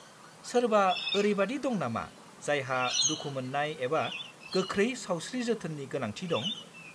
सोरबा ओरैबादि दं नामा जायहा दुखु मोननाय एबा गोख्रै सावस्रि जोथोननि गोनांथि दं?